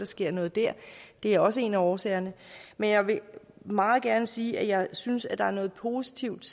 sker noget der det er også en af årsagerne men jeg vil meget gerne sige at jeg synes der er noget positivt